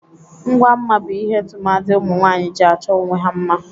Ngwa mma bụ ihe tụmadị ụmụnwaanyị ji achọ onwe ha mma.